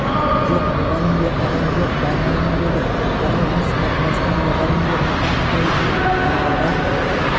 жоқ мұғалім де адам жоқ бармаймын деді арал міз бақпастан мұғалім де мұқа атай да аралға